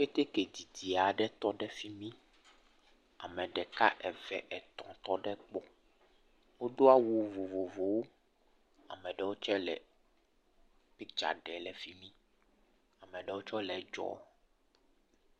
Keteke didid aɖe tɔ ɖe fi mi ame ɖeka, eve, etɔ̃ aɖewo tɔ ɖe egbɔ, wodo awu vovovowo, ame aɖewo tse le piktsa ɖe le fi mi, ame aɖewe tse le edzɔm.